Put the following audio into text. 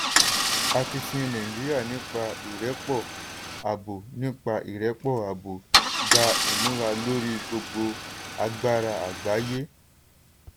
akitiyan nàìjíríà nípa ìrẹ́pọ̀ abo nípa ìrẹ́pọ̀ abo gba ìmúra lórí gbogbo agbára àgbáyé.